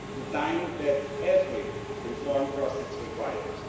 the time that every reform process requires.